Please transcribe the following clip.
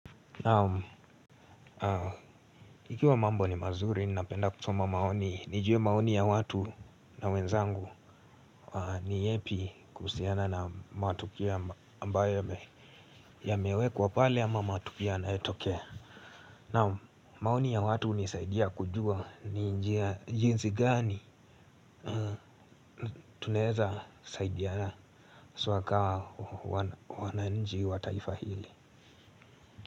Ikiwa mambo ni mazuri, ninapenda kusoma maoni, nijue maoni ya watu na wenzangu ni yepi kuhusiana na matukio ambayo yamewe kwa pale ama matukio yanayetokea. Naam maoni ya watu hunisaidia kujua ni njia jinsi gani tunaweza saidiana haswa kaa wananchi wa taifa hili.